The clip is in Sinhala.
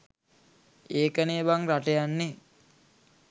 ඒකනේ බං රට යන්නේ